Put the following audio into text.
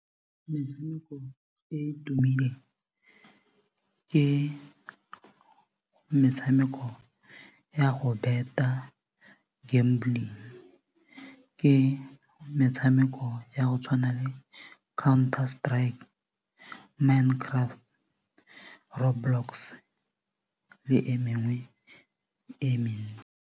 Metshameko e e tumileng ke metshameko ya go bet-a gambling ke metshameko ya go tshwana le Counter-Strike, Minecraft le Roadblocks le e mengwe e mengwe.